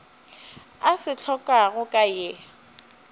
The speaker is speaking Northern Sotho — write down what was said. a se hlokago ka ye